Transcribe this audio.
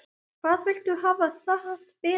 Hvað viltu hafa það betra?